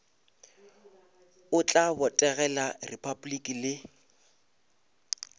o tla botegela repabliki le